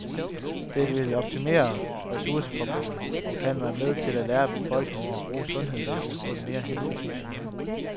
Det vil optimere ressourceforbruget og kan være med til at lære befolkningen at bruge sundhedsvæsenet på en mere hensigtsmæssig måde.